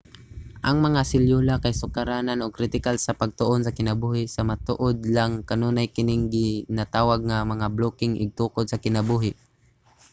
ang mga selyula kay sukaranan ug kritikal sa pagtuon sa kinabuhi sa matuod lang kanunay kining ginatawag nga mga blokeng igtutukod sa kinabuhi